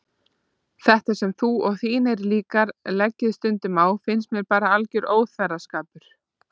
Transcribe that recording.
Þetta sem þú og þínir líkar leggið stund á finnst mér bara alger óþverraskapur.